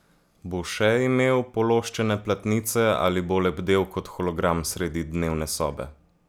Bo še imel pološčene platnice, ali bo lebdel kot hologram sredi dnevne sobe?